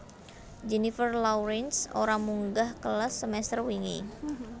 Jennifer Lawrence ora munggah kelas semester wingi